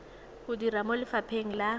o dira mo lefapheng la